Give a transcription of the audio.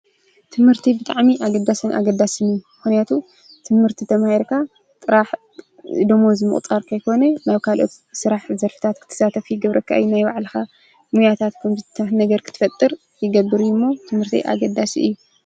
ትምህርቲ ብጣዕሚ ኣገዳስን ኣገዳስን እዩ። ምክንያቱ ትምህርቲ ተማሂርካ ጥራሕ ደመወዝ ምቁፃር ከይኮነ ናብ ካልኦት ስራሕ ዘርፍታት ክትሳተፍ ይገብረካ እዩ። ናይ ባዕልካ ሞያታትኩም ከምዙይታት ነገር ክትፈጥር ይገብር እዩ እሞ ትምህርቲ ኣገዳሲ እዩ።